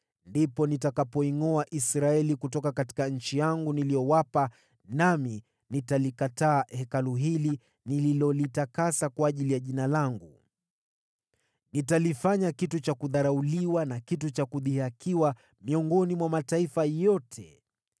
ndipo nitakapoingʼoa Israeli kutoka nchi yangu niliyowapa, nami nitalikataa Hekalu hili nililolitakasa kwa ajili ya Jina langu. Nitalifanya kitu cha kudharauliwa na kitu cha kudhihakiwa miongoni mwa watu wote.